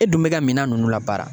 E dun bɛ ka minan ninnu labaara